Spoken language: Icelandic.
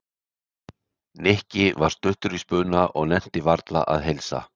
Nikki var stuttur í spuna og nennti varla að heilsa